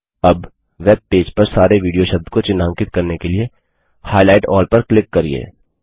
अब वेबपेज पर सारे वीडियो शब्द को चिह्नांकित करने के लिए हाइलाइट अल्ल पर क्लिक करिये